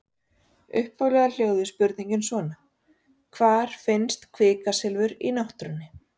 Upphaflega hljóðaði spurningin svona: Hvar finnst kvikasilfur í náttúrunni?